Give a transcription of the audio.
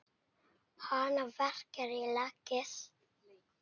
Hana verkjar í legið.